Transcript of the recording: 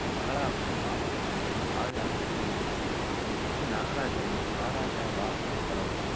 மகளாகவும் மாமல்லபுரத்தின் சாதனையாளர் சித்தரிக்கப்பட்டுள்ளார். எ பி நாகராஜனின் வா ராஜா வா திரைப்படம்